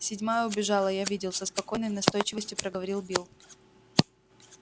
седьмая убежала я видел со спокойной настойчивостью проговорил билл